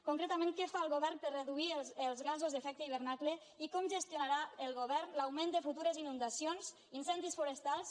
concretament què fa el govern per reduir els gasos d’efecte hivernacle i com gestionarà el govern l’augment de futures inundacions incendis forestals